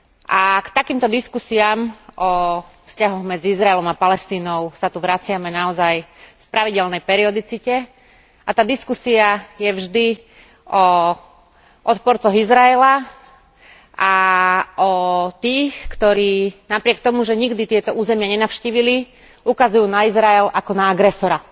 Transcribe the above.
A k takýmto diskusiám o vzťahoch medzi Izraelom a Palestínou sa tu vraciame naozaj v pravidelnej periodicite a tá diskusia je vždy o odporcoch Izraela a o tých, ktorí napriek tomu, že nikdy tieto územia nenavštívili, ukazujú na Izrael ako na agresora.